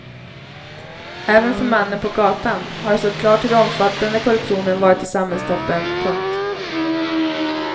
Även för mannen på gatan har det stått klart hur omfattande korruptionen varit i samhällstoppen. punkt